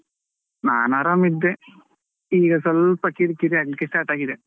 ನಾನು ಆರಾಮ್ ಇದ್ದೆ.ಈಗ ಸ್ವಲ್ಪ ಕಿರಿಕಿರಿ ಆಗಲಿಕ್ಕೆ start ಆಗಿದೆ.